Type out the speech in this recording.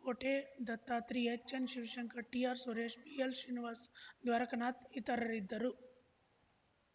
ಕೋಟೆ Dattatri H N Shivashankar T R Suresh B L Srinivas Dwarakanath ಇತರರಿದ್ದರು